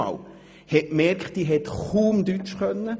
Man merkte, dass sie kaum Deutsch sprach.